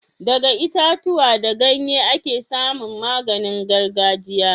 Daga itatuwa da ganye ake samun maganin gargajiya